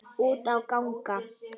Út á gang.